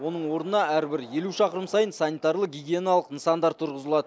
оның орнына әрбір елу шақырым сайын санитарлы гигиеналық нысандар тұрғызылады